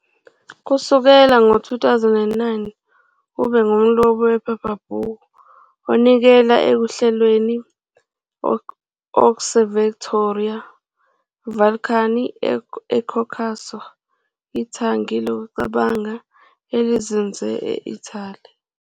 Kusukela ngo-2009, ube ngumlobi wephephabhuku onikela ekuhlelweni kwe-Osservatorio Balcani eCaucaso, ithangi lokucabanga elizinze e-Italy.